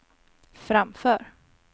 framför